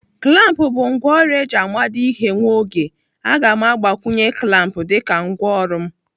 Klamp bụ ngwaọrụ eji amado ihe nwa oge. Aga m agbakwunye klamp dịka ngwaọrụ m.